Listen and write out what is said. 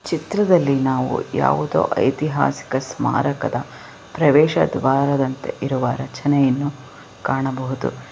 ಚಿತ್ರದಲ್ಲಿ ನಾವು ಯಾವುದೋ ಐತಿಹಾಸಿಕ ಸ್ಮಾರಕದ ಪ್ರದೇಶ ದ್ವಾರದಂತೆ ಇರುವ ರಚನೆಯನ್ನು ಕಾಣಬಹುದು.